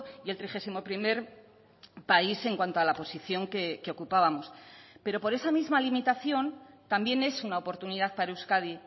y el trigésimo primer país en cuanto a la posición que ocupábamos pero por esa misma limitación también es una oportunidad para euskadi